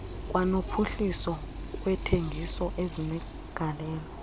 kwanophuhliso lwentengiso ezinegalelo